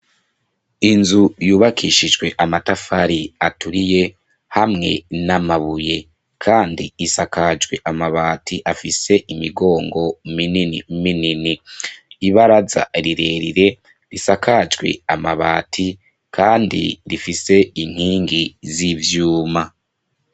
Inzu yubakishijwe amatafari aturiye hamwe n'amabuye kandi isakajwe amabati afise imigongo minini, ibaraza rirerire risakajwe amabati kandi rifise inkingi z'ivyuma.